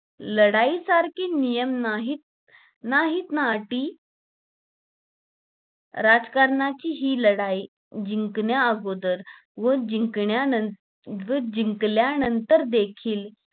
लढाई सारखे नियम नाहीत नाहीत ना अटी राजकारणाची हि लढाई जिंकण्या अगोदर व जिंकण्या नंतर जिकल्यानंतर देखील